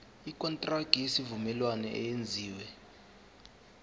ikontraki yesivumelwano eyenziwe